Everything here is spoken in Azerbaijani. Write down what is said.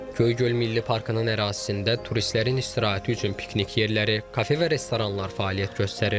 Göygöl Milli Parkının ərazisində turistlərin istirahəti üçün piknik yerləri, kafe və restoranlar fəaliyyət göstərir.